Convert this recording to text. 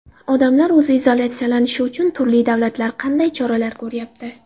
Odamlar o‘zini izolyatsiyalashi uchun turli davlatlar qanday choralar ko‘ryapti?